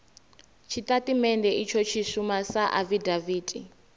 tshitatamennde itsho tshi shuma sa afidaviti